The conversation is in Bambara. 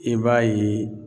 I b'a ye